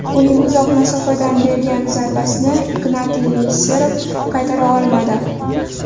Uning uzoq masofadan bergan zarbasini Ignatiy Nesterov qaytara olmadi.